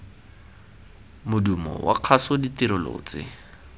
modumo wa kgaso ditirelo tse